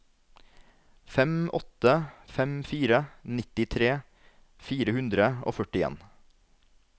fem åtte fem fire nittitre fire hundre og førtien